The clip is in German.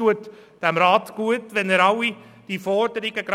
Es tut diesem Rat gut, wenn er die Forderungen